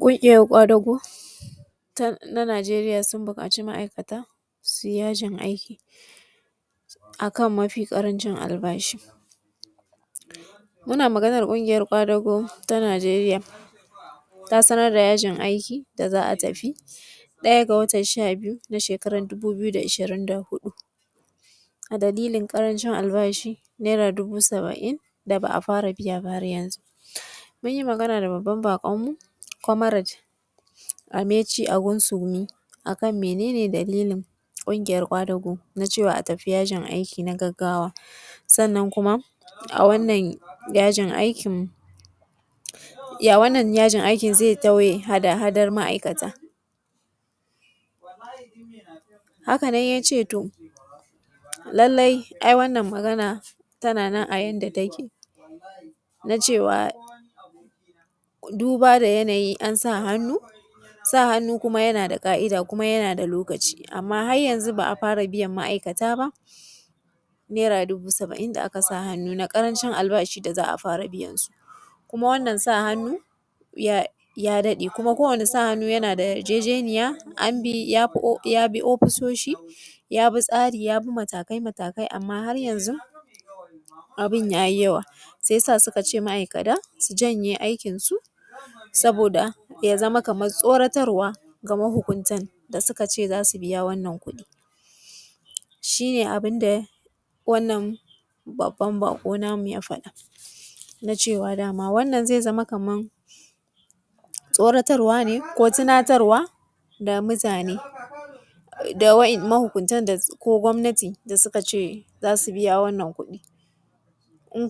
Ƙungiyoyin kwadugo ta Nijeriya sun buƙaci ma'aikata su yi yajin aiki a kan mafi ƙarancin albashi. Muna magana ne a kan ƙungiyar ƙwadago ta Nijeriya ta samar da yajin aiki wanda za a tafi ɗaya da watan sha biyu, shekara dubu biyu da ishirin da huɗu, a dalilin ƙarancin albashi Naira dubu saba'in da ba a fara biya ba. Mun yi magana da babban baƙonmu comrade Ameche Angunsumi akan men ne dalilin ƙungiyar ƙwadago na cewa a tafi yajin aiki na gaggawa. Sannan kuma a wannan yajin aikin zai tauye hada-hadan ma'aikata. Haka nan ya ce to lallai wannan magana tana a yadda take na cewa duba da yanayi an sa hannu, sa hannu yana da ka'ida kuma yana da lokaci. Amma har yanzu ba a fara biyan ma'aikata ba Naira dubu saba'in da aka sa biyan albashi da za a fara biyan su ma'aikata Naira dubu saba'in da aka sa hannu na karancin albashi da za a fara biya. Kuma wannan sa hannu ya daɗe kuma ko wane sa hannu yana da yarjejeniya ya bi ofisoshin ya bi tsari ya bi matakai amma har yanzu, abun ya yi yawa sai ya sa suka ce su janye aikinsu, saboda tsorotarwa ga mahukuntan da suka ce za su biya wannan kuɗi. Shi ne abun da. Wannan babban bako ya fada, na cewa wannan zai zama kamar tsorotarwa tunatarwa da mutane da muhunta ko gwamnatin da suka ce za su biya wannan kuɗi.